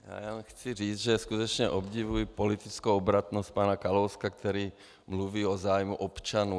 Já chci říci, že skutečně obdivuji politickou obratnost pana Kalouska, který mluví o zájmu občanů.